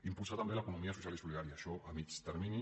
impulsar també l’economia social i solidària això a mig termini